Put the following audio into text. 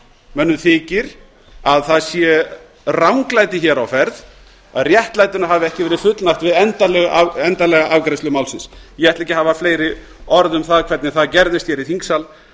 mönnum þykir að það sé ranglæti á ferð að réttlætinu hafi ekki verið fullnægt við endanlega afgreiðslu málsins ég ætla ekki að hafa fleiri orð um það hvernig það gerðist í þingsal